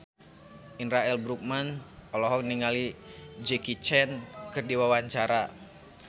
Indra L. Bruggman olohok ningali Jackie Chan keur diwawancara